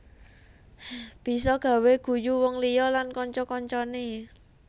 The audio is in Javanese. Bisa gawé guyu wong liya lan kanca kancané